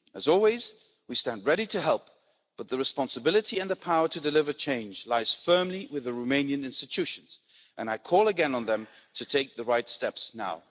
As always, we stand ready to help, but the responsibility and the power to deliver change lie firmly with the Romanian institutions. I call again on them to take the right steps now.